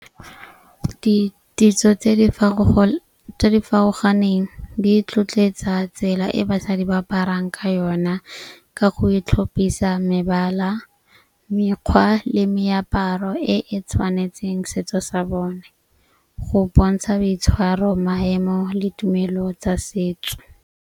Ditso tse tse di farologaneng di tlhotlhetsa tsela e basadi ba aparang ka yona ka go e tlhophisa mebala, mekgwa le meaparo e e tshwanetseng setso sa bone. Go bontsha boitshwaro, maemo le tumelo tsa setso.